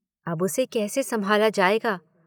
अब उसे कैसे संभाला जायेगा?